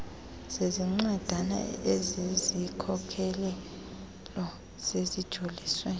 zencwadana ezizikhokelo zijolise